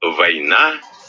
война